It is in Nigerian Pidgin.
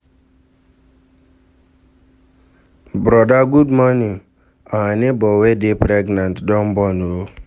Broda good morning, our nebor wey dey pregnant don born o.